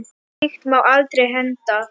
Og slíkt má aldrei henda.